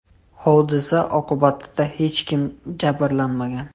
Hodisa oqibatida hech kim jabrlanmagan.